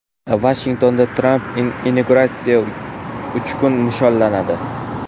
Vashingtonda Tramp inauguratsiyasi uch kun nishonlanadi.